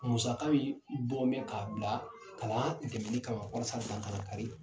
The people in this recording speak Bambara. Musaka miin bɔn bɛ k'a bila kalan dɛmɛni kama walasa dan ka lakari